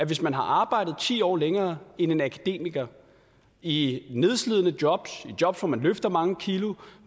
hvis man har arbejdet ti år længere end en akademiker i nedslidende jobs i jobs hvor man løfter mange kilo